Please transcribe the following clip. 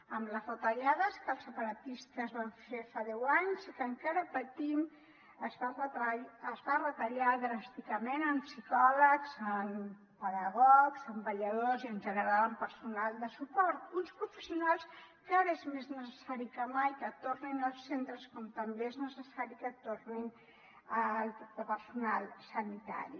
amb les retallades que els separatistes van fer fa deu anys i que encara patim es va retallar dràsticament en psicòlegs en pedagogs en vetlladors i en general en personal de suport uns professionals que ara és més necessari que mai que tornin als centres com també és necessari que torni el personal sanitari